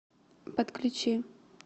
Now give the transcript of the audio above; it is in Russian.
подключи